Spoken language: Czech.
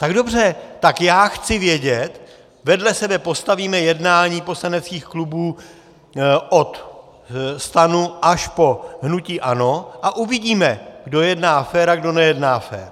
Tak dobře, tak já chci vědět - vedle sebe postavíme jednání poslaneckých klubů od STAN až po hnutí ANO a uvidíme, kdo jedná fér a kdo nejedná fér.